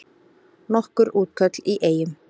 Nokkur útköll í Eyjum